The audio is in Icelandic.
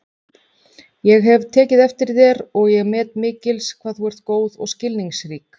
Ég hef tekið eftir þér og ég met mikils hvað þú ert góð og skilningsrík